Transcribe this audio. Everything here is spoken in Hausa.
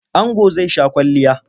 Ango zai sha kwalliya.